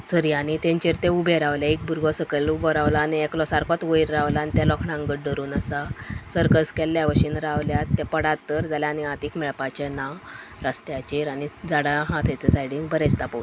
सऱ्यानी तेंचेर ते उभे रावल्या एक बुरगो सकेल उबो रावला आणि एकलो सार्कोत वैर रावला आणि त्या लोखणांक घट धरून आसा सर्कस केल्ल्याबशेन रावल्यात ते पडात जाल्यार तर आणि हातीक मेळपाचे ना रस्त्याचेर आणि झाडा आहा थंय ते सायडिन बरे दिसता पोव --